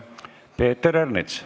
Peeter Ernits.